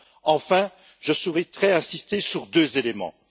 Enfin, je souhaiterais insister sur deux éléments.